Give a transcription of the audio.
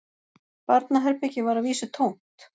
Barnaherbergið var að vísu tómt